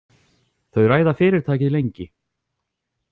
Þau ræða fyrirtækið lengi.